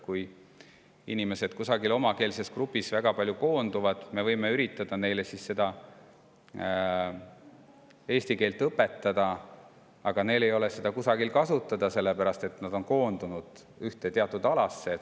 Kui inimesed kusagil omakeelses grupis väga palju koonduvad, siis me võime üritada neile eesti keelt õpetada, aga neil ei ole seda kusagil kasutada, sellepärast et nad on koondunud teatud alale.